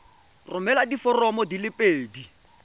romela diforomo di le pedi